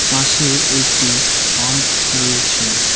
পাশে একটি পাম্প রয়েছে।